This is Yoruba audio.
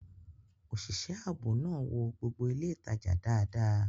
Òṣìṣẹ́ ààbò náà wo gbogbo ilé ìtajà dáadáa